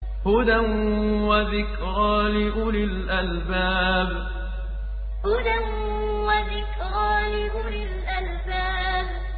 هُدًى وَذِكْرَىٰ لِأُولِي الْأَلْبَابِ هُدًى وَذِكْرَىٰ لِأُولِي الْأَلْبَابِ